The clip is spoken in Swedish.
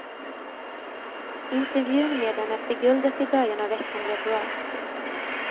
Intervjun med henne efter guldet i början av veckan blev bra.